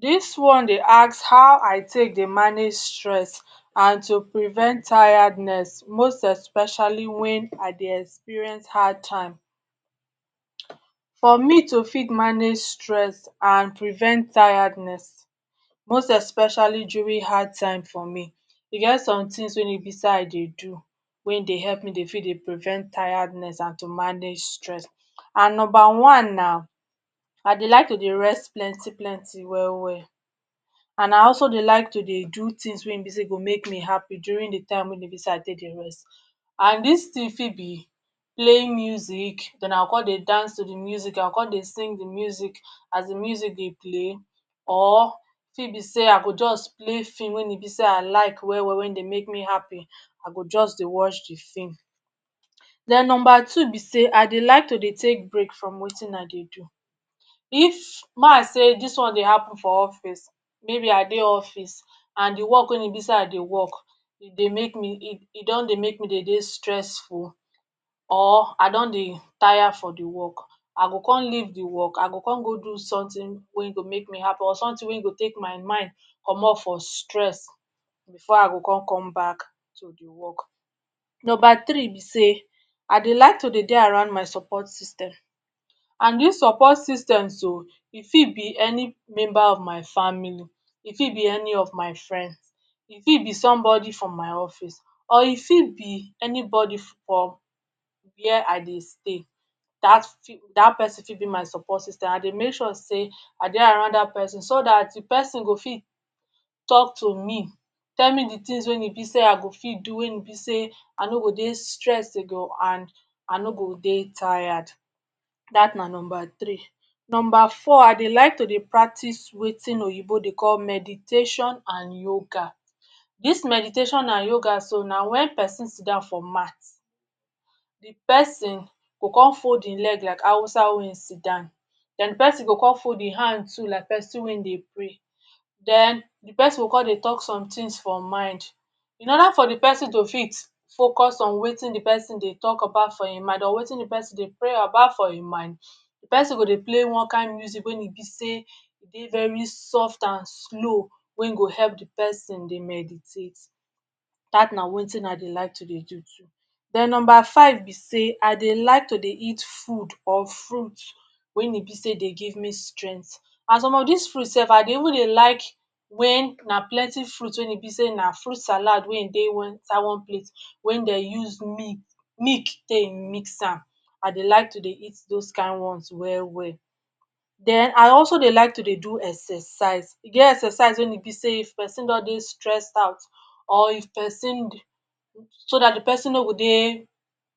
Dis one dey ask how I take dey manage stress and to prevent tiredness, most especially wen I dey experience hard time, for me to fit manage stress and prevent tiredness, most especially during hard time for me, e get something wey dey I dey do, we dey help me prevent tiredness and to manage stress, and number one na I dey like to dey rest plenty plenty well well and I also dey like to dey do things wey dey make me happy during de time wey e be sey I take dey rest, and dis thing fit be playing music den I go con dey dance to de music, I go con dey sing de music, as de music dey play or e fit be sey I go just play film wey be sey I like well well wey dey make me happy, I go jus dey watch de film, den number two be dey I go like to dey take break from Wetin I dey do, if may I sey dis one dey happen for office maybe I dey office and de work wey be sey I dey work e dey make me, e don dey make me dey dey stressful, or I don dey tire for de work, I go con leave de work, I go con go do something wey go make me happy or something wey go take my mind commot for stress before I go con come back to de work, number three be sey I dey like to dey dey around my support system, and dis support system so, e fit be any member of my family, e fit be any of my friend, e fit be somebody from my office, or e fit be anybody for where I dey stay dat dat pesin fit be my support system I dey make sure sey I dey around dat pesin so dat de pesin go fit talk to me, tell me de things wey be sey I go fit do wey e be sey I no go dey stressed and I no go dey tired, dat na number three. Number four I dey like to dey practice Wetin oyinbo dey call meditation and yoga, dis meditation and yoga so na wen pesin sit down for mat, de pesin go con fold hin leg like Hausa wey siddon den de persin go con fold hin hand too like person wey dey pray, den de pesin go con dey talk somethings for mind, in other for de pesin to fit focus on Wetin de pesin dey talk about for hin mind, or Wetin de pesin dey pray about for him mind, d pesin go play one kind music wey e be sey e dey very soft and slow wey go help de pesin meditate, dat na Wetin I dey like to dey do too. Den number five be sey I dey like to dey eat food or fruits wey e be sey dey give me strength, and some of dis fruits sef I dey even dey like wen na plenty fruits wey be sey na fruits salad wey[um]dey inside one plate wey dem use milk take mix am, I dey like to dey eat those kind ones well well den I also dey like to dey do exercise, e get exercise wey be sey if pesin just dey stressed out, or if persin so dat de pesin no go dey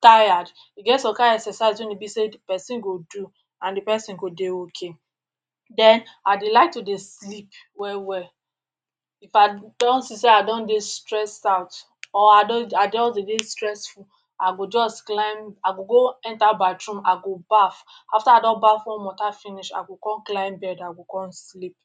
tired e get some kind exercise wey be sey de pesin go do and de pesin go dey okay, dem I dey like to dey sleep well well, if I don see sey I don dey stressed out or I don dey stressful I go jus climb, I go go enter bathroom I go baff, after I don Baff warm water finish I go con climb bed I go con sleep.